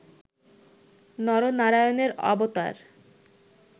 নর নারায়ণের অবতার